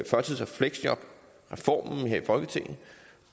førtids og fleksjobreformen her i folketinget